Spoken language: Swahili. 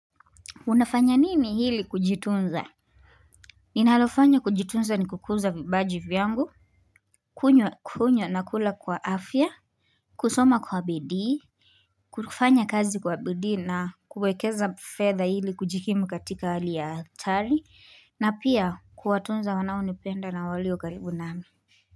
Unafanya nini hili kujitunza? Ninalofanya kujitunza ni kukuza vipaji vyangu. Kunywa kunywa na kula kwa afya. Kusoma kwa bidii. Kufanya kazi kwa bidii na kuwekeza fedha ili kujikimu katika hali ya hatari. Na pia kuwatunza wanaonipenda na waliyo karibu nami.